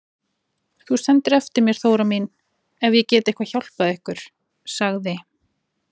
Þú sendir eftir mér Þóra mín ef ég get eitthvað hjálpað ykkur, sagði